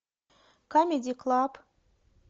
камеди клаб